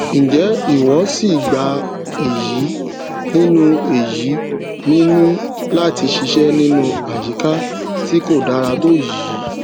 n jẹ ìwọ sí gbà èyí nínú èyí nínú láti ṣiṣẹ nínú àyíká tí kò dára tó yìí